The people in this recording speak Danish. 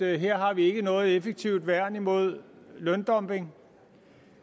her har vi ikke noget effektivt værn mod løndumping